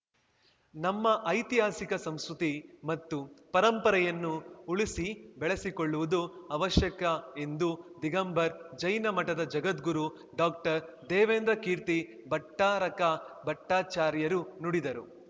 ನಮ್ಮ ಐತಿಹಾಸಿಕ ಸಂಸ್ಕೃತಿ ಮತ್ತು ಪರಂಪರೆಯನ್ನು ಉಳಿಸಿಬೆಳೆಸಿಕೊಳ್ಳುವುದು ಅವಶ್ಯಕ ಎಂದು ದಿಗಂಬರ್ ಜೈನ ಮಠದ ಜಗದ್ಗುರು ಡಾಕ್ಟರ್ದೇವೇಂದ್ರಕೀರ್ತಿ ಭಟ್ಟಾರಕ ಬಟ್ಟಾಚಾರ್ಯರು ನುಡಿದರು